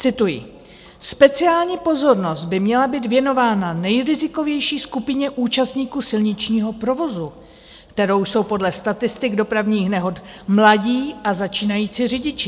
Cituji: Speciální pozornost by měla být věnována nejrizikovější skupině účastníků silničního provozu, kterou jsou podle statistik dopravních nehod mladí a začínající řidiči.